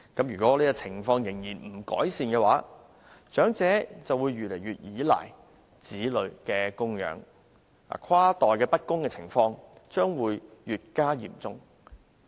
如果情況不改善，長者將會越來越依賴子女的供養，跨代不公的情況將會越加嚴重。